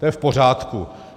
To je v pořádku.